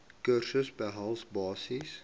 kursusse behels basiese